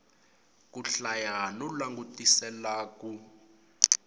ku hlaya no langutisela ku